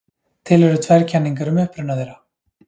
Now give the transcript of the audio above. Til eru tvær kenningar um uppruna þeirra.